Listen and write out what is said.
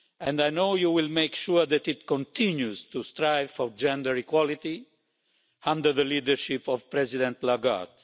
I know you will make sure that it continues to strive for gender equality under the leadership of President Lagarde.